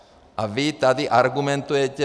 A vy tady argumentujete...